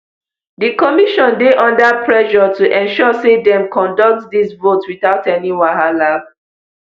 di commission dey under pressure to ensure say dem conduct dis vote without any wahala